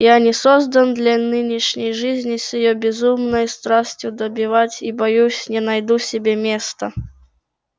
я не создан для нынешней жизни с её безумной страстью добивать и боюсь не найду себе места